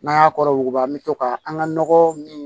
N'an y'a kɔrɔ yuguba an mi to ka an ga nɔgɔ min